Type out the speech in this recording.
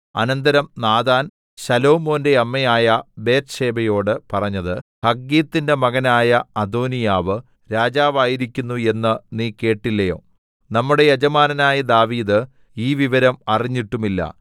അനന്തരം നാഥാൻ ശലോമോന്റെ അമ്മയായ ബത്ത്ശേബയോട് പറഞ്ഞത് ഹഗ്ഗീത്തിന്റെ മകനായ അദോനീയാവ് രാജാവായിരിക്കുന്നു എന്ന് നീ കേട്ടില്ലയോ നമ്മുടെ യജമാനനായ ദാവീദ് ഈ വിവരം അറിഞ്ഞിട്ടുമില്ല